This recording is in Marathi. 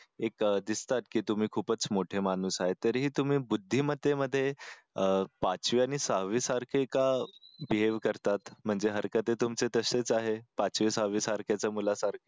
एक दिसतात की तुम्ही खूपच मोठे माणूस आहे तरी तुम्ही बुद्धीमतेमध्ये पाचवी आणि सहावी सारखे का बिहेव्ह करतात म्हणजे हरकते तुमची तशीच आहे पाचवी सहावी सारखेच्या मुलासारखी